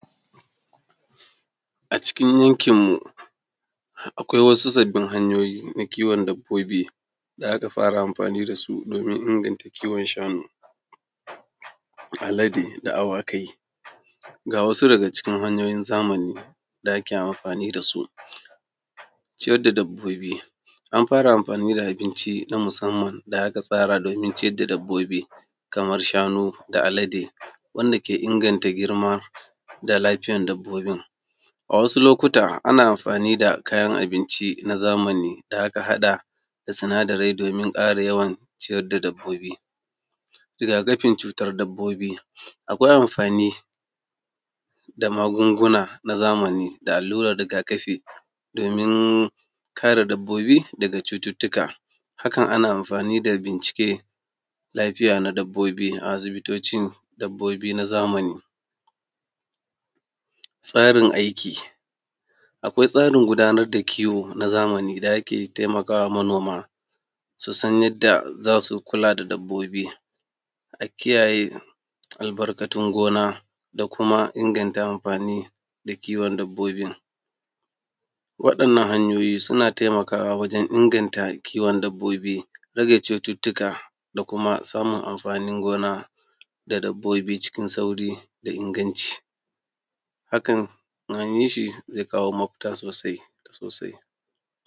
A cikin yankinmu akwai wasu sabin hanyoyi na kiwon dabbobi da aka fara amfani dasu domin inganta kiwon shanu, alade da awakai. Ga wasu daga cikin hanyoyin zamani da ake amfani da su. Ciyar da dabbobi, an fara amfani da abinci na musamman da aka tsara domin ciyar da dabbobi kaman shanu da alade wanda ke inganta girma da lafiyar dabbobin, a wasu lokuta ana amfani da kayan abinci na zamani da aka hada da sinadarai domin ƙara yawan ciyar da dabbobin, rigakafin cutar dabbobi a gurin amfani da magunguna na zamani da allurar rigakafi domin kare dabbobi daga cututuka, hakan ana amfani da bincike lafiya na dabbobi a asibitoci dabbobi na zamani. Tsarin aikin, akwai tsarin gudanar da koyo na zamani da ake taimakawa manoma su san yadda za su kula da dabbobi, a kiyayye albarkatun gona da kuma a inganta amfani da kiwon dabbobin. Wa’innan hanyoyi suna taimakawa wajen inganta kiwon dabbobi tsare cututuka da kuma samun amfanin gona da dabbobi cikin sauƙi da inganci, hakan in an yi shi zai kawo mafita sosai sosai.